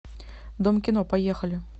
дом кино поехали